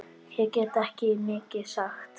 Ég get ekki mikið sagt.